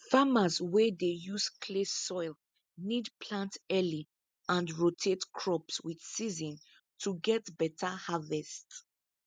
farmers wey dey use clay soil need plant early and rotate crops with season to get better harvest